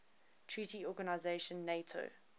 treaty organization nato